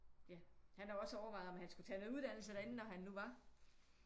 Ja han har også overvejet om han skulle tage noget uddannelse derinde når hun nu var